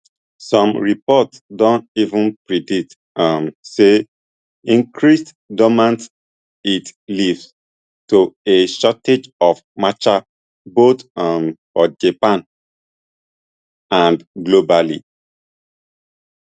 some reports don even predict um say increased demand it leafd to a shortage of matcha both um for japan and globally